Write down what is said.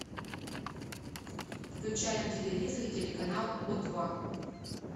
включай на телевизоре телеканал о два